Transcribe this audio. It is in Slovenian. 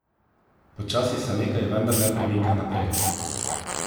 Počasi se nekaj vendarle premika naprej.